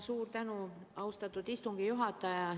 Suur tänu, austatud istungi juhataja!